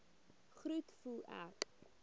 groet voel ek